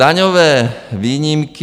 Daňové výjimky.